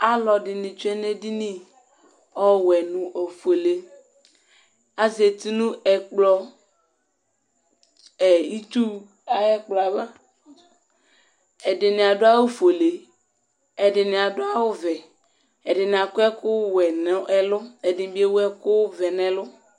Alʊɛdɩnɩ tsʊe nedinɩ, ɔwɛ nʊ ofuele Azatɩ nʊ ɩtsʊ ayɛkplɔ ava Ɛdɩnɩ adʊ awʊ fʊele Ɛdɩnɩ adʊ awu vɛ, ɛdinɩ akɔ ɛkʊ wɛ nʊ ɛlʊ, ɛdɩnɩbɩ ewʊ ekʊvɛ nɛlʊ